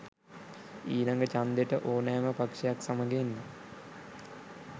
ඊලග චන්දෙට ඕනෑම පක්ෂයක් සමග එන්න.